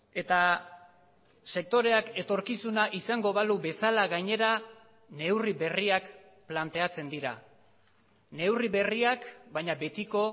eta sektoreak etorkizuna izango balu bezala gainera neurri berriak planteatzen dira neurri berriak baina betiko